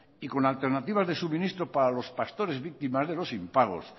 y con alternativas de suministro para los pastores víctimas de los impagos